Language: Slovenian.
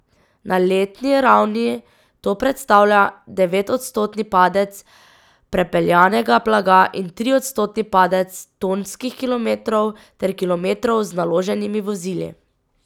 Na letni ravni to predstavlja devetodstotni padec prepeljanega blaga in triodstotni padec tonskih kilometrov ter kilometrov z naloženimi vozili.